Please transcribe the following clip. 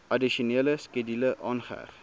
addisionele skedule aangeheg